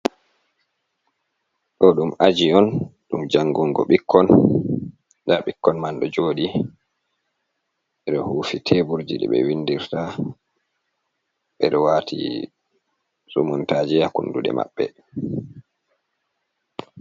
Ɗo ɗum aji on ɗum jangungo ɓikkon nda ɓikkon man ɗo jooɗii ɓeɗo hufi teburji ɗi ɓe windirta ɓe ɗo waati sumuntaaje haa kunduɗe maɓɓe.